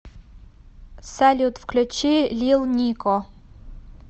салют включи лил нико